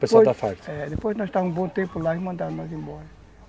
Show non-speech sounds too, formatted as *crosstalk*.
*unintelligible* Depois nós estávamos um bom tempo lá e mandaram nós embora.